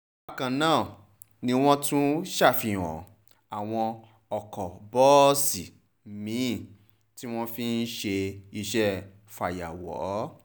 bákan náà ni wọ́n tún ṣàfihàn àwọn ọkọ̀ bọ́ọ̀sì mi-ín tí wọ́n fi ń ṣe iṣẹ́ fàyàwọ́